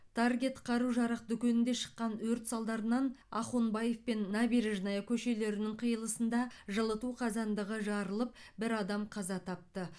таргет қару жарақ дүкенінде шыққан өрт салдарынан ахунбаев пен набережная көшелерінің қиылысында жылыту қазандығы жарылып бір адам қаза тапты